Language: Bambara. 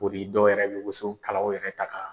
dɔw yɛrɛ bɛ wuso kalaw yɛrɛ ta ka